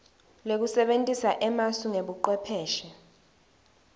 lekusebentisa emasu nebucwepheshe